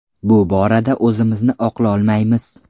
Bu borada o‘zimizni oqlolmaymiz.